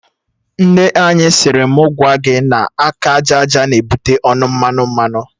Nne anyị siri mụ gwa gị na aka aja aja na-ebute ọnụ mmanụ mmanụ